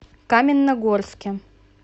каменногорске